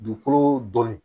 Dugukolo dɔnni